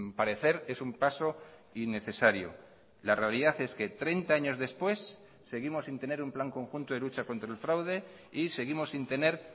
parecer es un paso y necesario la realidad es que treinta años después seguimos sin tener un plan conjunto de lucha contra el fraude y seguimos sin tener